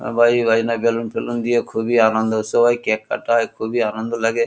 বাইরে গাইনা গেলুন ফেলুন দিয়ে খুবই আনন্দ সবাই কেক কাটা হয় খুবই লাগে।